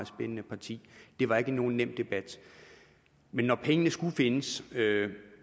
spændende parti det var ikke nogen nem debat men når pengene skulle findes